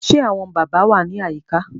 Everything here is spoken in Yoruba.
Ṣé àwọn bàbá wà ní àyíká